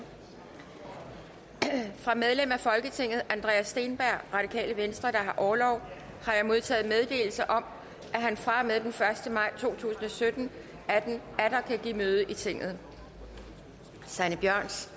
fra medlem af folketinget andreas steenberg der har orlov har jeg modtaget meddelelse om at han fra og med den første maj to tusind og sytten atter kan give møde i tinget sanne bjørns